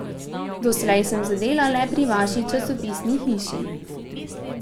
Doslej sem zadela le pri vaši časopisni hiši.